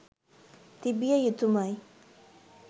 තිබිය යුතුමයි.